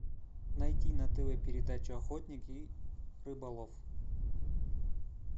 найти на тв передачу охотник и рыболов